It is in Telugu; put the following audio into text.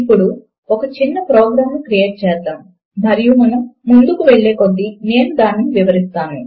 ఇప్పుడు ఒక చిన్న ప్రోగ్రామును క్రియేట్ చేద్దాము మరియు మనము ముందుకు వెళ్ళే కొద్దీ నేను దానిని వివరిస్తాను